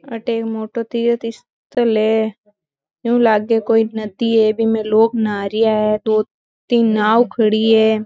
अटे एक मोटो तीर्थस्थल है यु लागे कोई नदी है बीमे लोग नहारिया है दो तीन नाव खडी है।